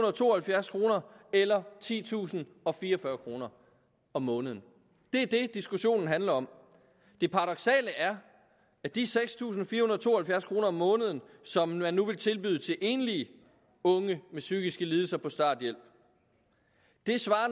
og to og halvfjerds kroner eller titusinde og fireogfyrre kroner om måneden det er det diskussionen handler om det paradoksale er at de seks tusind fire hundrede og to og halvfjerds kroner om måneden som man nu vil tilbyde enlige unge med psykiske lidelser på starthjælp